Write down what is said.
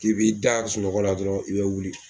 K'i b'i da sunɔgɔ la dɔrɔn i bɛ wuli